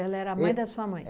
era a mãe da sua mãe?